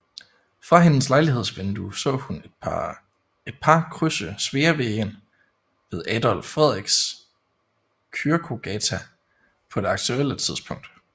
Fra hendes lejlighedsvindue så hun et par krydse Sveavägen ved Adolf Fredriks kyrkogata på det aktuelle tidspunkt